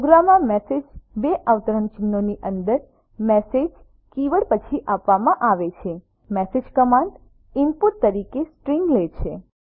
પ્રોગ્રામમાં મેસેજ બે અવતરણચિહ્નો ની અંદર મેસેજ કીવર્ડ પછી આપવામાં આવે છે મેસેજ કમાંડ ઈનપુટ તરીકે સ્ટ્રીંગ લે છે